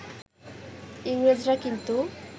ইংরেজরা কিন্তু